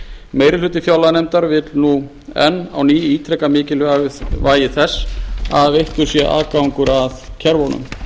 meiri hluti fjárlaganefndar vill nú enn á ný ítreka mikilvægi þess að veittur sé aðgangur að kerfunum